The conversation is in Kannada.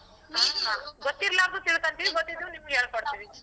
ಹ ಗೊತ್ತಿಲ್ಲಾರ್ದು ತಿಳ್ಕೋತಿವಿ ಗೊತ್ತಿದ್ರು ನಿಮ್ಗ್ ಹೇಳ್ಕೊಡ್ತೀವಿ.